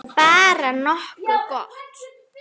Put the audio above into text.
Bara nokkuð gott.